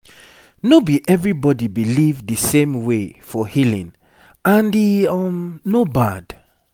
no be everybody believe the same way for healing and e um no bad